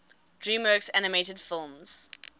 dreamworks animated films